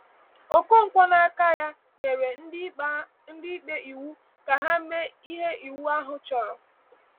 Okonkwo n’aka ya, nyere ndị ikpe iwu ka ha mee ihe iwu ahụ chọrọ.